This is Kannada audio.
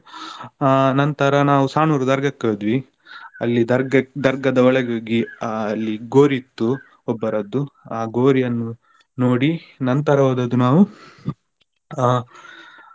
ಆ ನಂತರ ನಾವು Sanoor ದರ್ಗಾಕ್ಕೆ ಹೋದ್ವಿ. ಅಲ್ಲಿ ದರ್ಗ ದರ್ಗದ ಒಳಗೆ ಹೋಗಿ ಅಲ್ಲಿ ಗೋರಿ ಇತ್ತು ಒಬ್ಬರದ್ದುಆ ಗೋರಿಯನ್ನು ನೋಡಿ ನಂತರ ಹೋದದ್ದು ನಾವು ಆ.